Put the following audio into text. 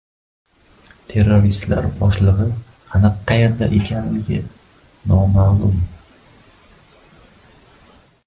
Terroristlar boshlig‘i aniq qayerda ekanligi noma’lum.